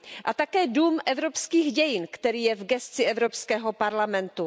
A také dům Evropských dějin, který je v gesci Evropského parlamentu.